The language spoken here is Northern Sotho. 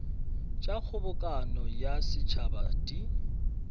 tša kgobokano ya setšhaba di